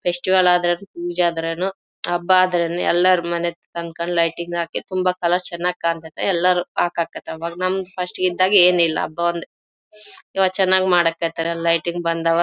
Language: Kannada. ಫೆಸ್ಟಿವಲ್ ಆದ್ರೆ ಏನು ಪೂಜೆ ಆದ್ರೆ ಏನು ಹಬ್ಬ ಆದ್ರೆ ಏನು ಎಲ್ಲಾರ ಮನೆ ತನಕನು ಲೈಟಿಂಗ್ ಹಾಕಿ ತುಂಬಾ ಕಲರ್ ಚನ್ನಾಗಿ ಕಾಣ್ ತೈತಿ ಎಲ್ಲಾರು ನಮ್ಮ ಫಸ್ಟ್ ಇದ್ದಾಗ ಏನ್ ಇಲ್ಲಾ ಹಬ್ಬ ಒಂದೇ ಇವಾಗ ಚನ್ನಾಗಿ ಮಾಡಕ್ಕೆ ಹೇಳತ್ತರೆ ಲೈಟಿಂಗ್ ಬಂದವಾ .